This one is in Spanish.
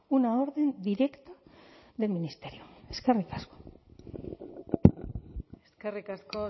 una orden directa del ministerio eskarrik asko eskerrik asko